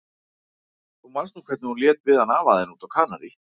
Þú manst nú hvernig hún lét við hann afa þinn úti á Kanarí.